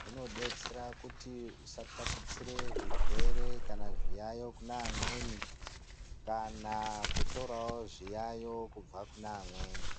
zvinodetsera kuti usataputsira zvirwere kana zviyayo zvine vamweni kana kutorawo zviyayo kubva kune vamweni.